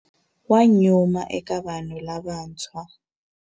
Wa nyuma eka vanhu lavantshwa.